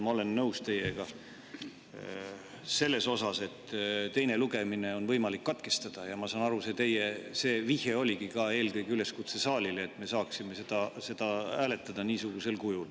Ma olen nõus teiega selles, et teine lugemine on võimalik katkestada, ja ma saan aru, see vihje oligi eelkõige üleskutse saalile, et me saaksime seda hääletada niisugusel kujul.